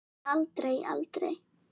Aldrei, aldrei.